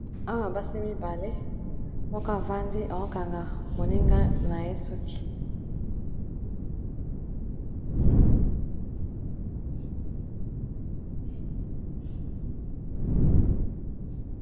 awa basi mibale moko avandi akokanga moninga na ye suki.